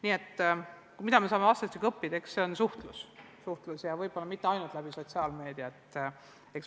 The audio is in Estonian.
Nii et see, mida me saame õppida, on suhtlemine – ja võib-olla mitte ainult läbi sotsiaalmeedia.